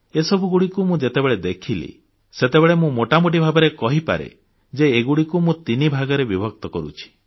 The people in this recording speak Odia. ଏସବୁକୁ ମୁଁ ଯେତେବେଳେ ଦେଖିଲି ସେତେବେଳେ ମୁଁ ମୋଟାମୋଟି ଭାବରେ କହିପାରେ ଯେ ଏଗୁଡ଼ିକୁ ମୁଁ ତିନିଭାଗରେ ବିଭକ୍ତ କରୁଛି